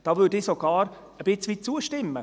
Ich würde hier sogar ein Stück weit zustimmen.